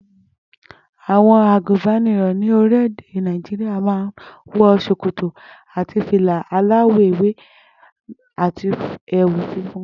Àwo̩n àgùnbánirò̩ ní orílè̩-èdè Nàìjíríà máa ń wo̩ s̩òkòtò àti fìlà aláwò̩ ewé àti è̩wù funfun